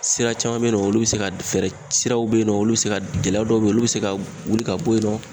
Sira caman bɛ yen nɔ, olu bɛ se ka fɛɛrɛ, siraw bɛ yen nɔ, olu bɛ se ka gɛlɛya dɔw bɛ yen olu bɛ se ka wuli ka bɔ yen nɔ.